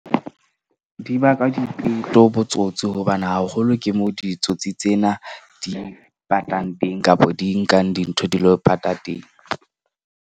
Di baka dipeto, botsotsi hobane haholo ke moo ditsotsi tsena di patang teng, kapa di nkang dintho di lo pata teng.